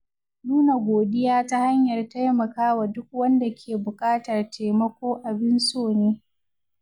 Nuna godiya ta hanyar taimakawa duk wanda ke buƙatar taimako abin so ne.